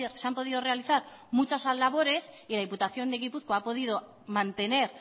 se han podido realizar muchas labores y la diputación de gipuzkoa ha podido mantener